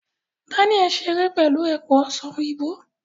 Daniel n ṣere pẹlu epo ọsan oyinbo